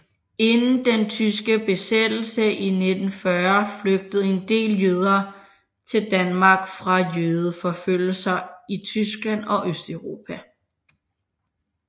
Inden den tyske besættelse i 1940 flygtede en del jøder til Danmark fra jødeforfølgelser i Tyskland og Østeuropa